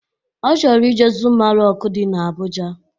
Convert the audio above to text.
Ọ chọrọ ije zuma rọk dị na Abụja